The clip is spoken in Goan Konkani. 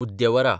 उद्यवरा